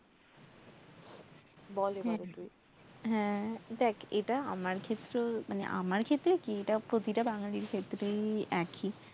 হ্যাঁ দেখ এটা আমার ক্ষেত্রেও মানে আমার ক্ষেত্রে কি প্রতিটা বাঙ্গালির ক্ষেত্রে এককি